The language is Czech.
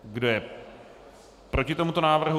Kdo je proti tomuto návrhu?